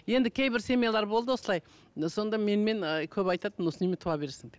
енді кейбір семьялар болды осылай ы сонда менмен ы көбі айтатын осы немене туа бересің деп